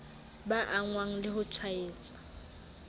ba angwang le ho tshwaetswa